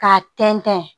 K'a tɛntɛn